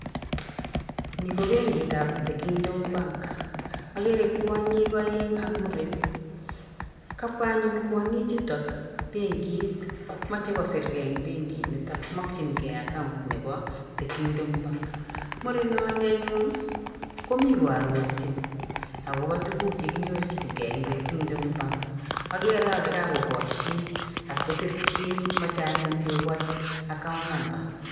Ni ko benkitap The Kingdom Bank. Akere kwanyik aeng' ak muren. Kabwa anyun kwanyichuto benkit. Machei kosirgei eng' benkinito, makyingei account nebo The Kingdom Bank. Murenoni anyun komi koarorchin akobo tuguk chekinyorchingei eng' The Kingdom Bank. Akere ale kakokashin ak kosirchin. Mache anyun kokoch account number